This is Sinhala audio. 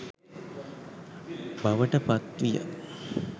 බවට පත් විය.